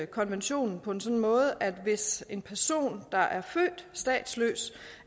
konventionen på en sådan måde at hvis en person der er født statsløs